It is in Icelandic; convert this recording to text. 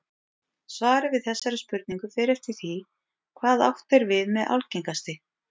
Svarið við þessari spurningu fer eftir því hvað átt er við með algengasti.